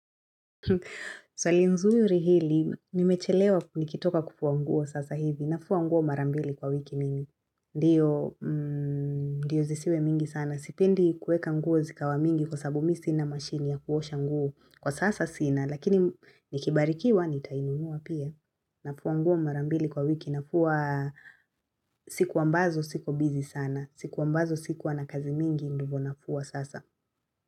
Swali nzuri hili, nimechelewa nikitoka kufua nguo sasa hivi, nafua nguo mara mbili kwa wiki mingi, ndiyo zisiwe mingi sana, sipendi kuweka nguo zikawa mingi kwa sababu mimi sina mashine ya kuosha nguo, kwa sasa sina lakini nikibarikiwa nitainunua pia, nafua nguo mara mbili kwa wiki, nafua siku ambazo siko busy sana, siku ambazo sikuwa na kazi mingi ndivyo nafua sasa.